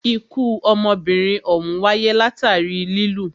Ikú ọmọbìnrin òhún wáyé látàri lilù.